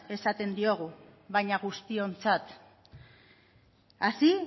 esaten diogu baina guztiontzat así